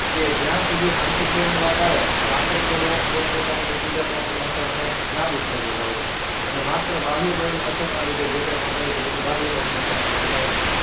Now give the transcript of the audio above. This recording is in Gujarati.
કે જ્યાં સુધી આંતરિક બળની વાત આવે તો આંતરિક બળો પોત પોતાની એક બીજા બળો ની અસરને નાબૂદ કરી દેતા હોય છે અને માત્ર બાહ્ય બળની અસરના લીધે જે કાંઈ તે બધું બાહ્ય બળને અસરના લીધે થાય છે